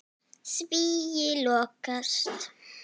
Svíi lokast.